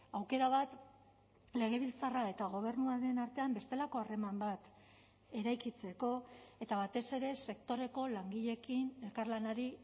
aukera bat legebiltzarra eta gobernuaren artean bestelako harreman bat eraikitzeko eta batez ere sektoreko langileekin elkarlanari